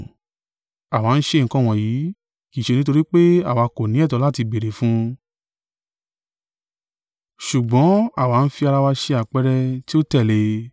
Àwa ń ṣe nǹkan wọ̀nyí, kì í ṣe nítorí pé àwa kò ní ẹ̀tọ́ láti béèrè fún un, ṣùgbọ́n àwa ń fi ara wa ṣe àpẹẹrẹ tí ẹ ó tẹ̀lé.